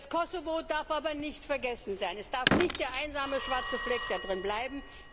Das Kosovo darf aber nicht vergessen sein. Es darf nicht der einsame schwarze Fleck bleiben.